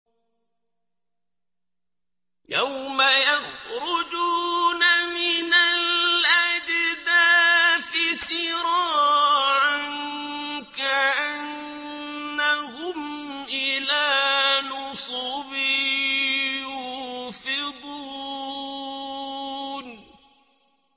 يَوْمَ يَخْرُجُونَ مِنَ الْأَجْدَاثِ سِرَاعًا كَأَنَّهُمْ إِلَىٰ نُصُبٍ يُوفِضُونَ